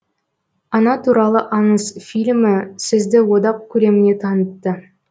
ана туралы аңыз фильмі сізді одақ көлеміне танытты